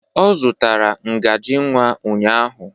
Ọ zụtara ngaji nwa ụnyahụ.